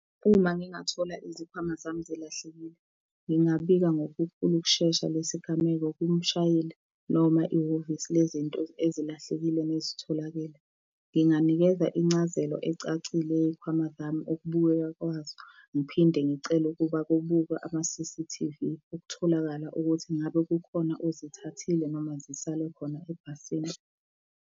Uma ngingathola izikhwama zami zilahlekile, ngingabika ngokukhulu ukushesha lesigameko kumshayeli noma ihhovisi lezinto ezilahlekile nezitholakele. Nginganikeza incazelo ecacile yey'khwama zami, ukubukeka kwazo, ngiphinde ngicele ukuba kubukwe ama C_C_T_V, ukutholakala ukuthi ingabe kukhona ozithathile noma zisale khona ebhasini.